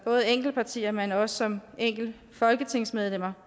partier men også som folketingsmedlemmer